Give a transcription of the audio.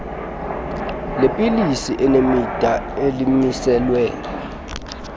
leepilisi elinemida elimiselwe